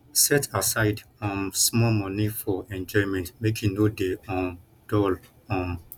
set aside um small moni for enjoyment make you no dey um dull um